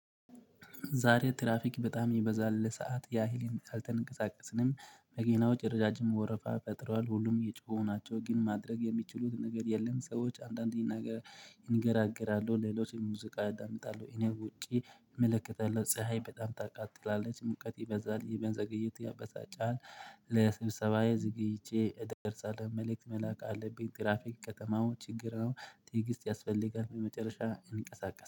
ዛሬ ትራፊክ በጣም የበዛበት ሰዓት ያህል እንዲያልተንቀሳቀስንም መገናው ጭርዛጭም ወረፋ ፈጥሯል ሁሉም እየጮሁ ናቸው ግን ማድረግ የሚችሉት ነገር የለም። ሰዎች አንዳንዴ ይናገራል ይንገራገራሉ ሌሎችን ሙዚቃ አዳምጣለሁ እኔ ውጪ እመለከታለሁ ፀሀይ በጣም ታቃጥላለች ሙቀቴ በዛ ላይ ይበንዘገይት ያበሳጫል። ለስብሰባዬ ዘግይቼ እደርሳለሁ መልእክት መላክ አለብኝ። ትራፊክ ከተማው ችግር ነው። ጥይት ያስፈልጋል በመጨረሻ እንቅስቃሴ